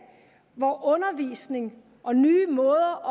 hvor undervisning og nye måder at